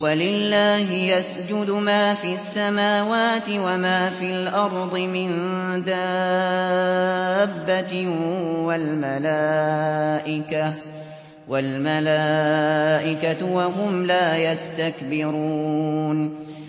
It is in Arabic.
وَلِلَّهِ يَسْجُدُ مَا فِي السَّمَاوَاتِ وَمَا فِي الْأَرْضِ مِن دَابَّةٍ وَالْمَلَائِكَةُ وَهُمْ لَا يَسْتَكْبِرُونَ